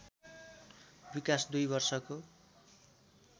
विकास दुई वर्षको